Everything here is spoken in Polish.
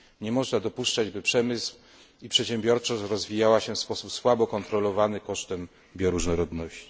Nie można dopuszczać, by przemysł i przedsiębiorczość rozwijały się w sposób słabo kontrolowany kosztem bioróżnorodności.